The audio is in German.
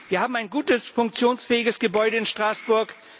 Wir haben ein gutes funktionsfähiges Gebäude in Straßburg.